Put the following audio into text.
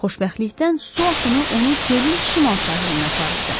Xoşbəxtlikdən su axını onu gölün şimal sahilinə aparırdı.